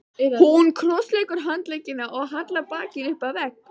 Hún krossleggur handleggina og hallar bakinu upp að vegg.